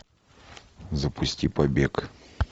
запусти побег